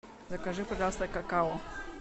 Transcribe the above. закажи пожалуйста какао